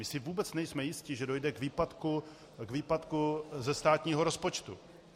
My si vůbec nejsme jisti, že dojde k výpadku ze státního rozpočtu.